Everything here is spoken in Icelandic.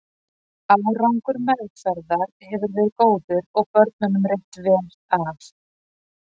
Árangur meðferðar hefur verið góður og börnunum reitt vel af.